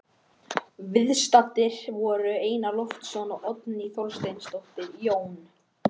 Viðstaddir voru Einar Loftsson og Oddný Þorsteinsdóttir, Jón